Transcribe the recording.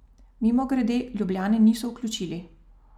Mimogrede, Ljubljane niso vključili.